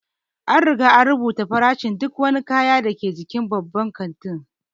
An riga an rubuta farashin duk wani kaya da ke cikin babban kanti